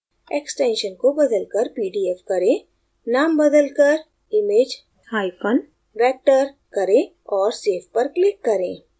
extension को बदलकर pdf करें name बदलकर imagevector करें और save पर click करें